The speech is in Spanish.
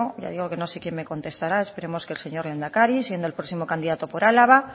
ya digo que no sé quien me contestará esperemos que el señor lehendakari siendo el próximo candidato por álava